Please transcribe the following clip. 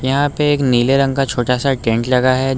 यहां पे एक नीले रंग का छोटा सा टेंट लगा है।